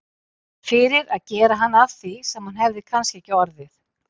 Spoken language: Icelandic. Fyrir að gera hann að því sem hann hefði kannski ekki orðið.